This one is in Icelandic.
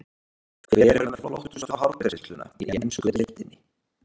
Hver er með flottustu hárgreiðsluna í ensku deildinni?